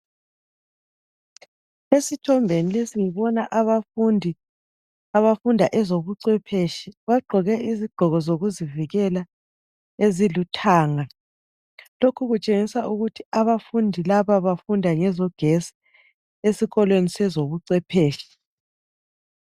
Esithombeni lesi ngibona abafundi abafunda ezobuncwephetshi ,bagqoke izigqoko zokuzivikela eziluthanga .Lokhu kutshengisa ukuthi abafundi laba bafunda ngezogesi esikolweni sezobucwephetshi.